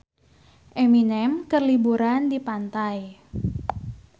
Eminem keur liburan di pantai